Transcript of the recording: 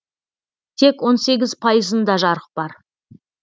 тек он сегіз пайызында жарық бар